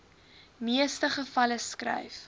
meeste gevalle skryf